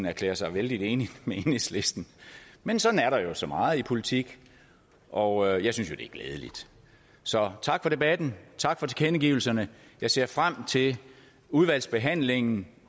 erklære sig vældig enig med enhedslisten men sådan er der jo så meget i politik og jeg synes at det er glædeligt så tak for debatten tak for tilkendegivelserne jeg ser frem til udvalgsbehandlingen